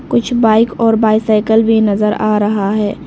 कुछ बाइक और बाईसाइकल भी नजर आ रहा है।